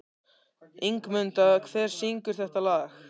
Ingimunda, hver syngur þetta lag?